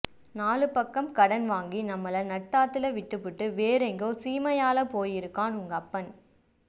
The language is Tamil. நாலு பக்கம் கடன் வாங்கி நம்மள நட்டாத்துல விட்டுப்புட்டு வேறெங்கோ சீமையாள போயிருக்கான் உங்கப்பன்